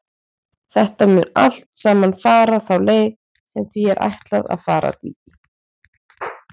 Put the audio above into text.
Þetta mun allt saman fara þá leið sem því er ætlað að fara, Dídí.